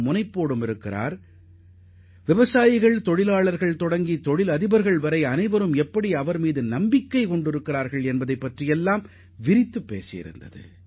அந்த அளவிற்கு விவசாயிகள் தொழிலாளர்கள் முதல் தொழில் அதிபர்கள் வரை அவர் மீது முழு நம்பிக்கை வைக்கும் அளவிற்கு அவரது நேர்மையும் உறுதிப்பாடும் இருந்தது